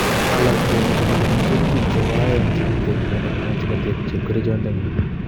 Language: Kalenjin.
Alak komuche kolipan kerutik che bo oyeng che keteb inyendet anan chekateb chepkerichot ndengung'